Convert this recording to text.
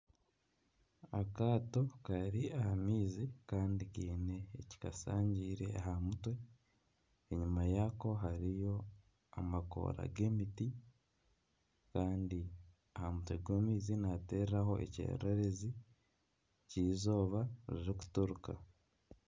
Akaato kari aha maizi kandi kaine ekikashangiire aha mutwe, enyima yaako hariyo amakoora g'emiti kandi aha mutwe gw'amaizi nihateeraho ekyererezi ky'eizooba ririkuturuka